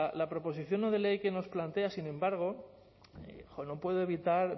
la proposición no de ley que nos plantea sin embargo jo no puedo evitar